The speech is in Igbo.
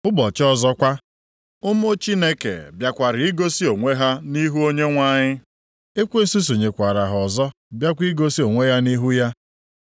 Ụbọchị ọzọkwa, ụmụ Chineke bịakwara igosi onwe ha nʼihu Onyenwe anyị. Ekwensu sonyekwaara ha ọzọ bịakwa igosi onwe ya nʼihu ya.